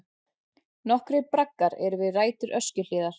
Nokkrir braggar eru við rætur Öskjuhlíðar.